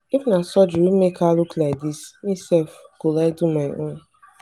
if na surgery wey make her look like dis me sef go like do my own.